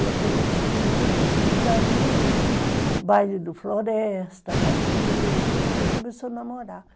Eu conheci ele e dali a gente... Baile do Floresta, matinê, tudo, a gente começou a namorar.